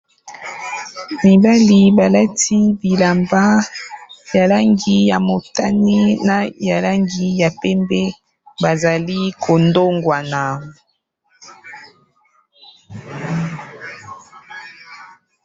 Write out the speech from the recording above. Mibali balati bilamba ya langi ya motani, na ya langi ya pembe, bazali ko ndongwana.